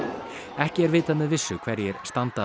ekki er vitað með vissu hverjir standa að